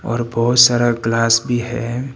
और बहुत सारा ग्लास भी है।